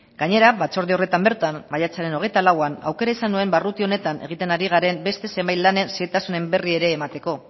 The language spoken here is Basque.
gainera batzorde horretan bertan maiatzaren hogeita lauan aukera izan nuen barruti honetan egiten ari garen beste zenbait lanen xehetasunen berri ere emateko